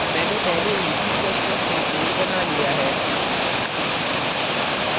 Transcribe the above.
मैंने पहले ही c ++ में code बना लिया है